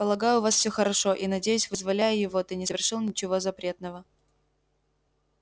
полагаю у вас все хорошо и надеюсь вызволяя его ты не совершил ничего запретного